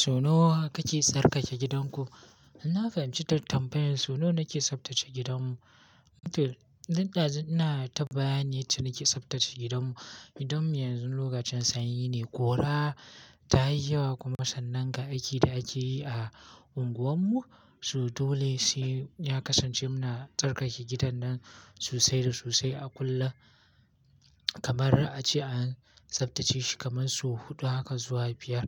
So nawa kake tsarkake gidanku? Na fahimci ta tambayan su nawa nake tsaftace gidanmu. Mutum, zinɗa ina ta bayani yadda nake tsaftace gidanmu. Gidanmu yanzu lokacin sanyi ne, kura ta yi yawa kuma sannan ga aiki da ake yi a unguwarmu. So dole sai ya kasance muna tsarkake gidan nan sosai da sosai a kullum. Kaman ra'a ce an tsaftace shi kaman su huɗu haka zuwa biyar.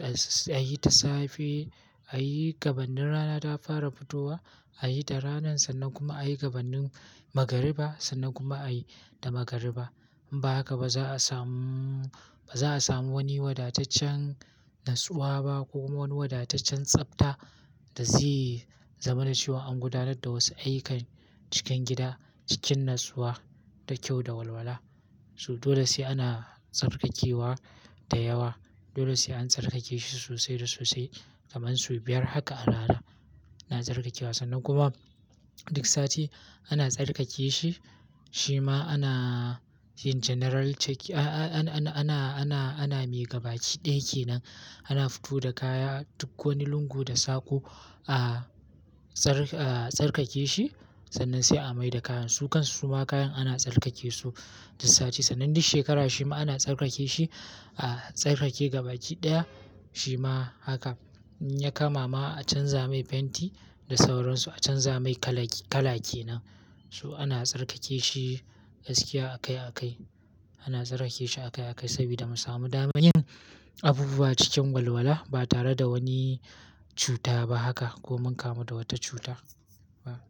A yi ta safe, a yi gabannin rana ta fara fitowa, a yi da ranan sannan kuma a yi gabannin magariba sannan kuma a yi da magariba. Ba haka ba za a samu, ba za a samu wani wadataccen natsuwa ba ko kuma wani wadataccen tsafta da zai zama da cewa an gudanar da wasu ayyukan cikin gida, cikin natsuwa da kyau da walwala. Su dole sai ana tsarkakewa da yawa. Dole sai an tsarkake shi sosai da sosai kaman su biyar haka a rana ana tsarkakewa sannan kuma duk sati ana tsarkake shi. Shi ma ana yin general check, a-a-ana, ana, ana mai gabaki ɗin ke nan. Ana fito da kaya duk wani lungu da sako, a tsarkake shi sannan sai a mai da kayan su. Kansu suma kayan ana tsarkake su duk sati sannan duk shekara shi ma ana tsarkake shi, a tsarkake gabaki ɗaya. Shi ma haka in ya kama ma a canza mai fenti da sauransu, a canza mai kala, kalake nan. Su ana tsarkake shi gaskiya akai akai. Ana tsarkake shi akai akai sabida mu samu damanin abubuwa cikin walwala ba tare da wani cuta ba haka ko mun kamu da wata cuta ba.